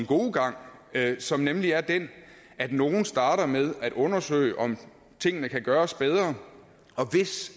gode gang som nemlig er den at nogle starter med at undersøge om tingene kan gøres bedre hvis